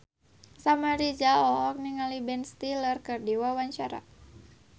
Samuel Rizal olohok ningali Ben Stiller keur diwawancara